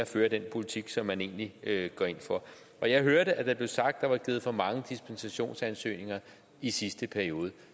føre den politik som man egentlig går ind for jeg hørte at der blev sagt at der er givet for mange dispensationer i sidste periode